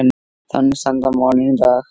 Þannig standa málin í dag.